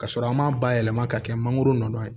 Ka sɔrɔ an m'a bayɛlɛma ka kɛ mangoro nɔ ye